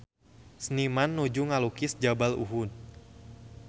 Seniman nuju ngalukis Jabal Uhud